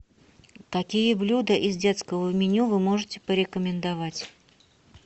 какие блюда из детского меню вы можете порекомендовать